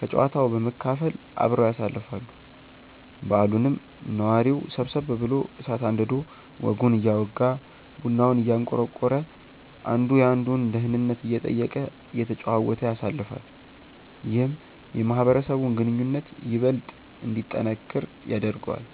ከጨዋታው በመካፈል አብረው ያሳልፋሉ። በዓሉንም ነዋሪው ሰብሰብ ብሎ እሳት አንድዶ ወጉን እያወጋ፤ ቡናውን እያንቆረቆረ፤ አንዱ የአንዱን ደህንነት እየጠየቀ፤ እየተጨዋወተ ያሳልፋል። ይህም የማህበረሰቡን ግንኙነት ይበልጥ እንዲጠነክር ያደርገዋል።